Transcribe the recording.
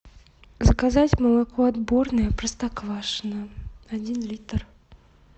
заказать молоко отборное простоквашино один литр